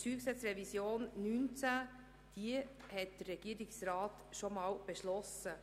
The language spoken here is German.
Die StG-Revision 2019 hat der Regierungsrat schon einmal beschlossen.